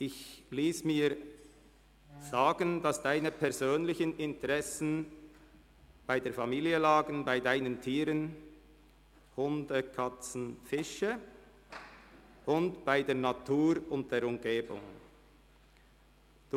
Ich habe mir sagen lassen, dass Ihre persönlichen Interessen bei Ihrer Familie, Ihren Tieren – Hunde, Katzen und Fische – sowie bei der Natur und der Umgebung liegen.